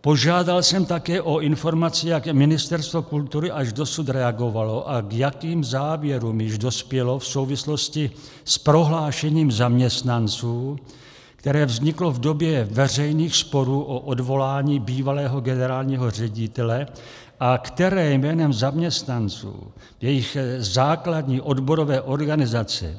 Požádal jsem také o informaci, jak Ministerstvo kultury až dosud reagovalo a k jakým závěrům již dospělo v souvislosti s prohlášením zaměstnanců, které vzniklo v době veřejných sporů o odvolání bývalého generálního ředitele a které jménem zaměstnanců, jejich základní odborové organizace,